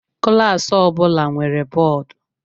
Klaasị ọbụla nwere bọọdụ.